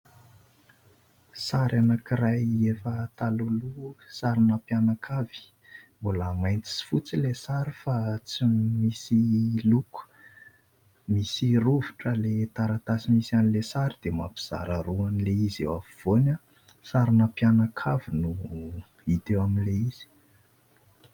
Sary anankiray efa talohaloha, sarina mpianakavy. Mbola mainty sy fotsy ilay sary fa tsy misy loko. Misy rovitra ilay taratasy nisy an'ilay sary dia mampizara roa an'ilay izy eo afovoany. Sarina mpianakavy no hita eo amin'ilay izy.